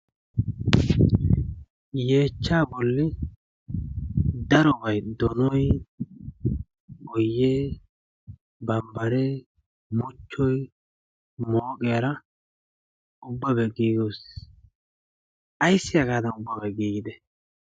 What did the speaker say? yeechcha bolli darobay donoy, boyee, bambbaree muchchoy mooqiyaara ubbabaa giigis ayssi hagaadan ubbabay giigide?